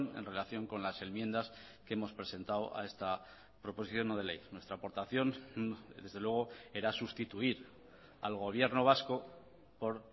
en relación con las enmiendas que hemos presentado a esta proposición no de ley nuestra aportación desde luego era sustituir al gobierno vasco por